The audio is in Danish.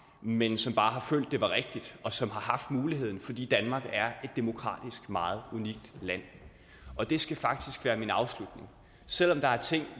men som bare har følt det var rigtigt og som har haft muligheden fordi danmark er et demokratisk meget unikt land og det skal faktisk være min afslutning selv om der er ting